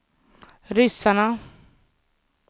ryssarna